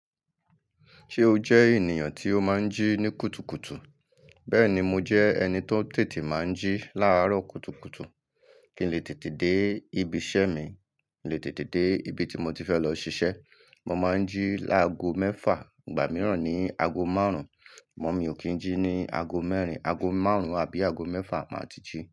Ṣé o jẹ́ ènìyàn tí ó máa ń jí ní kùtùkùtù? Bẹ́ẹ̀ni, mo jẹ́ ẹni tó tètè máa ń jí láàárọ̀ kùtùkùtù. Kí n lè tètè dé ibi iṣẹ́ mi, lè tètè dé ibi tí mo ti fẹ́ lọ ṣiṣẹ́. Mo máa ń jí láago mẹ́fà, ìgbà mìíràn ní aago márùn-ún. Mọ́ mi ò kí ń jí ní aago mẹ́rin, aago márùn-ún àbí aago mẹ́fà máa ti jí.